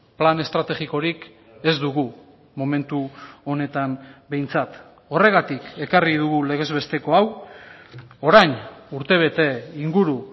plan estrategikorik ez dugu momentu honetan behintzat horregatik ekarri dugu legez besteko hau orain urtebete inguru